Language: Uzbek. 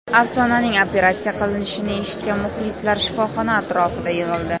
Afsonaning operatsiya qilinishini eshitgan muxlislar shifoxona atrofida yig‘ildi.